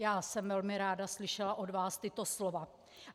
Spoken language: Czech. Já jsem velmi ráda slyšela od vás tato slova.